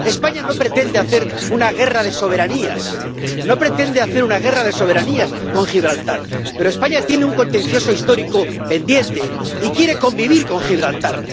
España no pretende hacer una guerra de soberanías, no pretende hacer una guerra de soberanías con Gibraltar, pero España tiene un contencioso histórico pendiente y quiere convivir con Gibraltar.